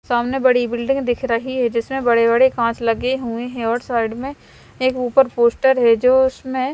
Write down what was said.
सामने बड़ी बुल्डिंग दिख रही है जिसमे बड़े बड़े काच लगे हुए है और साइड एक उपर पोस्टर है जो उसमे--